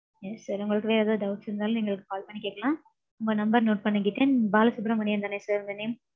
yes sir. உங்களுக்கு வேற ஏதும் doubts இருந்தாலும் எங்களுக்கு call பனி கேக்கலாம். உங்க number note பண்ணிக்கிட்டேன் பாலசுப்ரமணியன் தானே sir உங்க name?